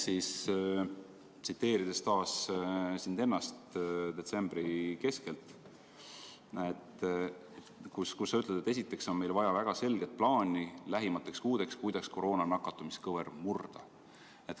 Ma tsiteerin taas sind ennast detsembri keskelt, kui sa ütlesid, et esiteks on meil vaja lähimateks kuudeks väga selget plaani, kuidas koroonasse nakatumise kõver murda.